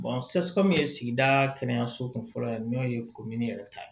ye sigida kɛnɛyaso kun fɔlɔ ye n'o ye yɛrɛ ta ye